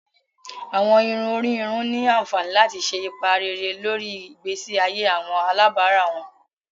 Awọn irun ori irun ni anfani lati ṣe ipa rere lori igbesi aye awọn alabara wọn.